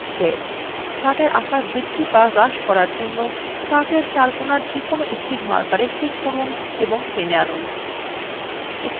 chart এর আকার বৃদ্ধি to হ্রাস করার জন্য chartএর chart কোনার যেকোনো একটির markersএ click করুন এবং টেনে আনুন